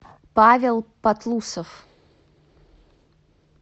павел патлусов